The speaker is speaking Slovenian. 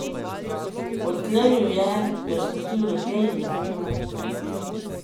Odklenil je, me spustil naprej in zaprl vrata.